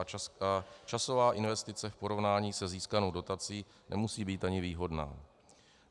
A časová investice v porovnání se získanou dotací nemusí být ani výhodná.